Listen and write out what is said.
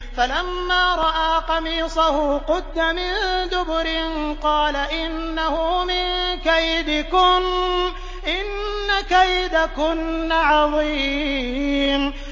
فَلَمَّا رَأَىٰ قَمِيصَهُ قُدَّ مِن دُبُرٍ قَالَ إِنَّهُ مِن كَيْدِكُنَّ ۖ إِنَّ كَيْدَكُنَّ عَظِيمٌ